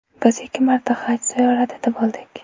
Biz ikki marta Haj ziyoratida bo‘ldik.